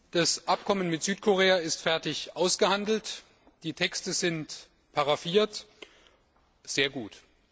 Das Abkommen mit Südkorea ist fertig ausgehandelt, die Texte sind paraphiert sehr gut.